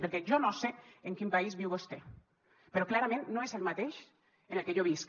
perquè jo no sé en quin país viu vostè però clarament no és el mateix en el que jo visc